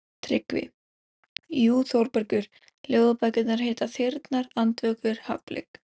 TRYGGVI: Jú, Þórbergur, ljóðabækur heita Þyrnar, Andvökur, Hafblik.